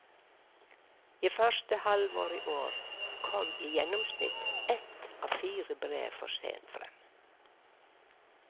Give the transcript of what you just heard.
I første halvår i år kom i gjennomsnitt ett av fire brev for sent frem.